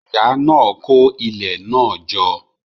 Ìyá náà kó ilẹ̀ náà jọ.